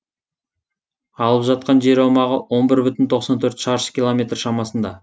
алып жатқан жер аумағы он бір бүтін тоқсан төрт шаршы километр шамасында